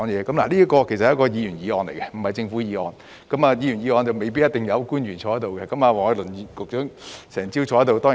這項是議員議案，並非政府議案，而議員議案未必一定有官員坐在這裏，但黃偉綸局長卻整個早上都在席。